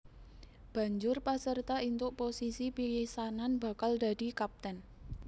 Banjur paserta entuk posisi pisanan bakal dadi kapten